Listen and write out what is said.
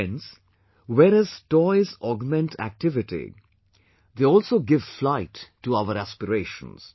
Friends, whereas toys augment activity, they also give flight to our aspirations